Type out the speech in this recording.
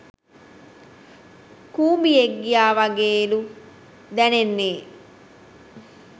කූඹියෙක් ගියා වගේලු දැනෙන්නේ